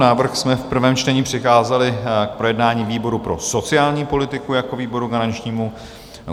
Návrh jsme v prvém čtení přikázali k projednání výboru pro sociální politiku jako výboru garančnímu.